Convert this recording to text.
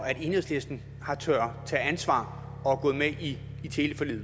at enhedslisten har turdet tage ansvar og gå med i teleforliget